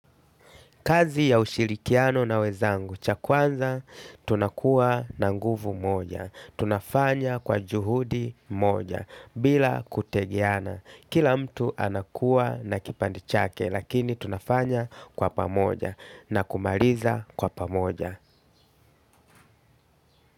Kazi ya ushirikiano na wenzangu, cha kwanza, tunakuwa na nguvu moja. Tunafanya kwa juhudi moja, bila kutegiana. Kila mtu anakuwa na kipande chake, lakini tunafanya kwa pamoja, na kumaliza kwa pamoja.